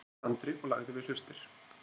sagði Andri og lagði við hlustir.